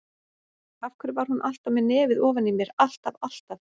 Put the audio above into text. Af hverju var hún alltaf með nefið ofan í mér, alltaf, alltaf.